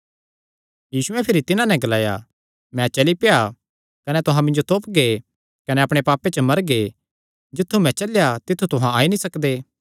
यीशुयैं भिरी तिन्हां नैं ग्लाया मैं चली पेआ कने तुहां मिन्जो तोपगे कने अपणे पापे च मरगे जित्थु मैं चलेया तित्थु तुहां नीं आई सकदे